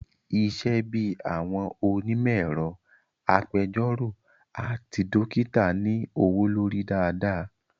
Isẹ́ bíi àwọn onímọ̀ ẹ̀rọ, agbẹjọ́rọ̀ àti dókítà ní owó lórí dáadáa